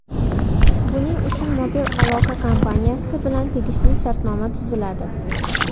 Buning uchun mobil aloqa kompaniyasi bilan tegishli shartnoma tuziladi.